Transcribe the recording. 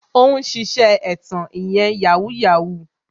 Ó ń ṣiṣẹ́ ẹ̀tàn ìyẹn "Yahoo Yahoo"